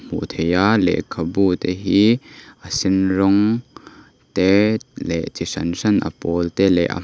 hmu thei a lekhabu te hi a sen rawng te leh chi hran hran a pawl te leh--